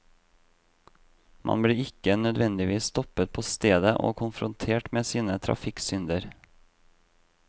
Man blir ikke nødvendigvis stoppet på stedet og konfrontert med sine trafikksynder.